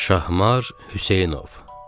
Şahmar Hüseynov.